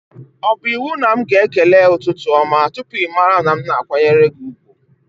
O bụ iwu na m ga-ekele ụtụtụ ọma tụpụ ịmara na m na-akwanyere gị ùgwù?